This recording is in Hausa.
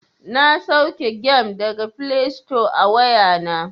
Na sauke gem daga flesto a wayana.